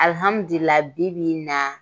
Alhamdulila bibi in na